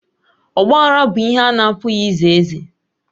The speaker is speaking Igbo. Ọgbaghara bụ ihe a na-apụghị ize eze